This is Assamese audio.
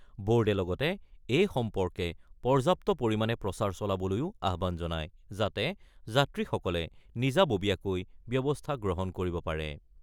ব'ৰ্ডে লগতে এই সম্পৰ্কে পৰ্যাপ্ত পৰিমাণে প্ৰচাৰ চলাবলৈও আহ্বান জনায়, যাতে যাত্ৰীসকলে নিজাববীয়াকৈ ব্যৱস্থা গ্ৰহণ কৰিব পাৰে।